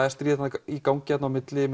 er stríð í gangi þarna á milli